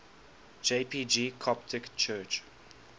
jpg coptic church